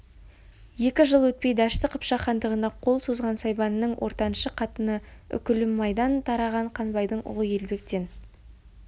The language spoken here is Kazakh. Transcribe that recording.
екі жыл өтпей дәшті қыпшақ хандығына қол созған сайбанның ортаншы қатыны үкілімайдан тараған қанбайдың ұлы елбектен